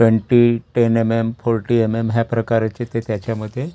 Twenty ten MM. Forty MM. ह्या प्रकाराचे ते त्याच्यामध्ये--